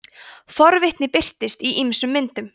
forvitni birtist í ýmsum myndum